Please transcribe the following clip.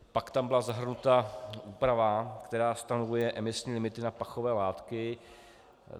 Pak tam byla zahrnuta úprava, která stanoví emisní limity na pachové látky.